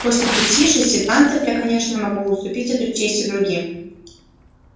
после пяти шести танцев я конечно могу уступить эту честь и другим